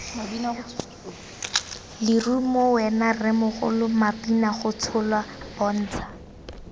lerumo wena rremogolo mabinagotsholwa bontsha